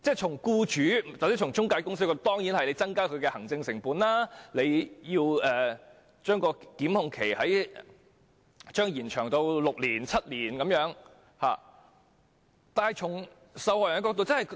從僱主或中介公司的角度來看，如將檢控期延長至6年或7年，當然會增加行政成本。